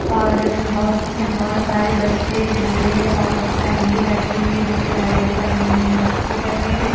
और बस में बहोत सारे बच्चे बूढ़े और फैमिली बैठी हुई है जोकि राइड करने में मस्ती कर रही है।